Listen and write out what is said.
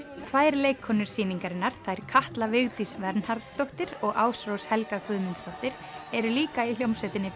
tvær leikkonur sýningarinnar þær Katla Vigdís Vernharðsdóttir og Ásrós Helga Guðmundsdóttir eru líka í hljómsveitinni